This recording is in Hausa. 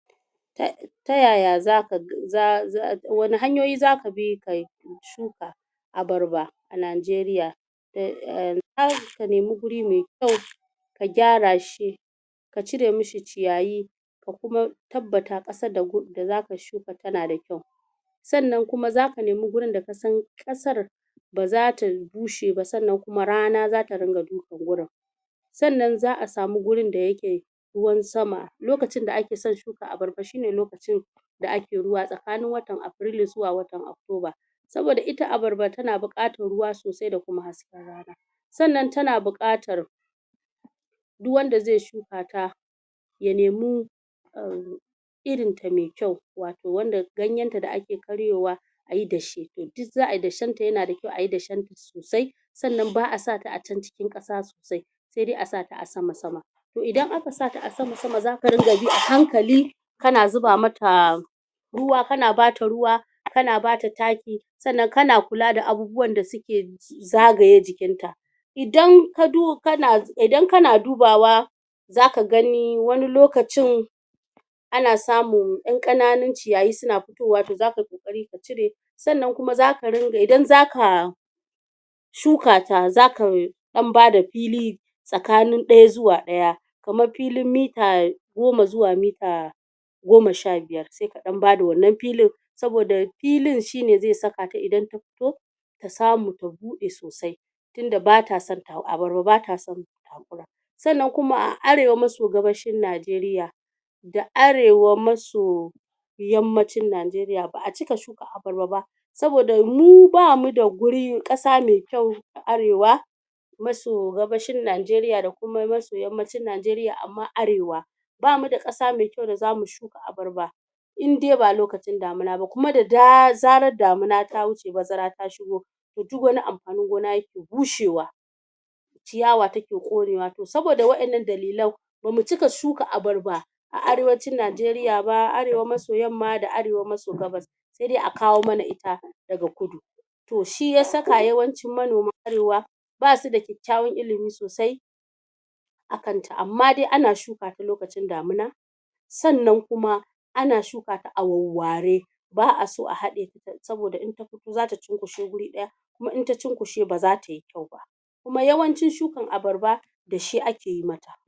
tayaya zaka wane hanyoyi zaka bi ka shuka abarba a Najeriya ka nemi guri me kyau ka gyara shi ka cire mi shi ciyayi ka kuma tabbata ƙasar da zaka shuka tana da kyau sannan kuma zaka nemi gurin da ka san ƙasar ba zata bushe ba sannan kuma rana zata ringa dukan gurin sannan za'a samu gurin da yake ruwan sama lokacin da ake son shuka abarba shine lokacin da ake ruwa tsakanin watan Afrilu zuwa watan October saboda ita abarba tana buƙatar ruwa sosai da kuma hasken rana sannan tana buƙatar duk wanda ze shuka ta ya nemi irin ta me kyau wato wanda ganyen ta da ake karyowa ayi dashe, duk za'a yi dashen ta yana da kyau ayi dashen ta sosai sanan ba'a sa ta a can cikin ƙasa sosai se dai a sa ta a sama-sama to idan aka sa ta a sama-sama zaka dinga bi a hankali kana zuba ma ta ruwa kana ba ta ruwa kana ba ta taki sannan kana kula da abubuwan da suke zagaye jikin ta idan kana dubawa zaka gani wani lokacin ana samun ƴan ƙananun ciyayi suna fitowa to zaka yi ƙoƙari ka cire sannan kuma idan zaka shuka ta zaka ɗan bada fili tsakanin ɗaya zuwa ɗaya kamar filin mita goma zuwa mita goma sha biyar se ka ɗan bada wannan filin saboda filin shine ze sakata idan ta fito ta samu ta buɗe sosai tunda bata son abarba bata son takura sannan kuma a arewa maso gabashin Najeriya da arewa maso yammacin Najeriya ba'a cika shuka abarba ba saboda mu bamu da ƙasa me kyau a arewa maso gabashin Najeriya da kuma maso yammacin Najeriya ama arewa bamu da ƙasa me kyau da zamu shuka abarba in dai ba lokacin damina ba kuma da zaran damina ta wuce bazara ta shigo to duk wani amfanin gona yake bushewa ciyawa take ƙonewa to saboda waɗannan dalilan ba mu cika shuka abarba a arewacin Najeriya ba arewa maso yamma da arewa maso gabas se dai a kawo mana ita daga kudu to shi ya saka yawancin manoman arewa basu da kyakkyawan ilimi sosai a kanta amma dai ana shuka ta lokacin damina sannan kuma ana shuka ta a warware ba'a so a haɗe ta saboda in ta fito zata cunkushe guri ɗaya kuma in ta cunkushe ba zata yi kyau ba kuma yawancin shukin abarba dashe ake yi mata